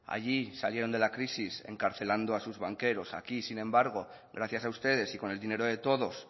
allí salieron de la crisis encarcelando a sus banqueros aquí sin embargo gracias a ustedes y con el dinero de todos